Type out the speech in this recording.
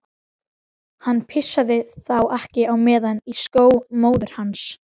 Hann pissaði þá ekki á meðan í skó móður hans.